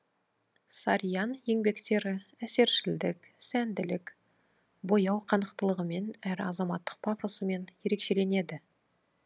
сарьян еңбектері әсершілдік сәнділік бояу қанықтылығымен әрі азаматтық пафосымен ерекшеленеді